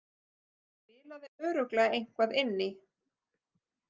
Það spilaði örugglega eitthvað inn í.